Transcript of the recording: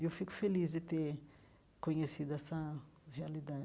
E eu fico feliz de ter conhecido essa realidade.